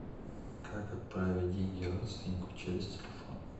как отправить деньги родственнику через телефон